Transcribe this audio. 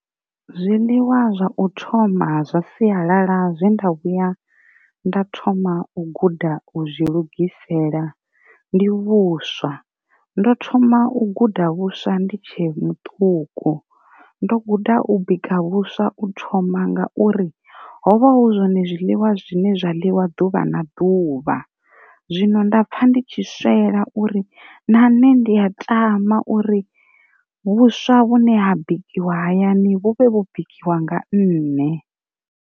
Zwiḽiwa zwa u thoma zwa siyalala zwe nda vhuya nda thoma u guda u zwi lugisela ndi vhuswa, ndo thoma u guda vhuswa ndi tshe muṱuku ndo guda u bika vhuswa u thoma ngauri hovha hu zwone zwiḽiwa zwine zwa ḽiwa ḓuvha na ḓuvha, zwino nda pfha ndi tshi swela uri na nṋe ndi a tama uri vhuswa vhune ha bikiwa hayani vhu vhe vho bikiwa nga nne.